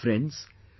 Friends,